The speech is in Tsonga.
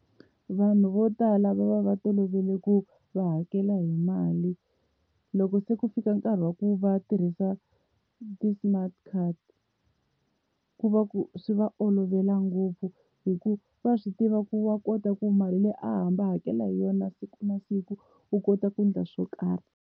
Vanhu vo tala va va va tolovele ku va hakela hi mali loko se ku fika nkarhi wa ku va tirhisa ti-smart card ku va ku swi va olovela ngopfu, hi ku wa swi tiva ku wa kota ku mali leyi a hamba a hakela hi yona siku na siku u kota ku endla swo karhi.